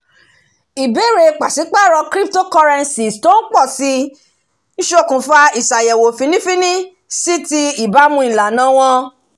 ìbèrè pàṣípàrọ̀ cryptocurrency tó ń pọ̀ sí ṣokùnfà iṣayẹwo fínnífínní si ti ìbámu ìlànà wọn